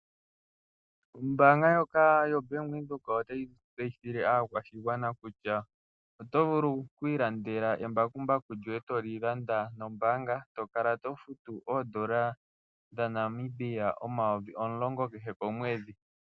Ombaanga ndjoka yoBank Windhoek otayi tseyithile aakwashigwana kutya oto vulu okwiilandela embakumbaku lyoye toli landa nombaanga eto kala to futu oodola dhaNamibia omayovi omulongo kehe komwedhi.